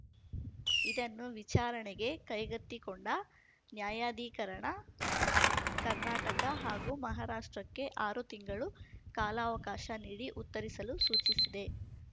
ಇದನ್ನು ವಿಚಾರಣೆಗೆ ಕೈಗೆತ್ತಿಕೊಂಡ ನ್ಯಾಯಾಧಿಕರಣ ಕರ್ನಾಟಕ ಹಾಗೂ ಮಹಾರಾಷ್ಟ್ರಕ್ಕೆ ಆರು ತಿಂಗಳು ಕಾಲಾವಕಾಶ ನೀಡಿ ಉತ್ತರಿಸಲು ಸೂಚಿಸಿದೆ